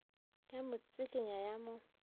ya mo tsikinya ya mo